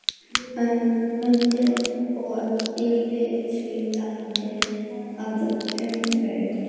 um, undir og yfir, suðandi af umferð.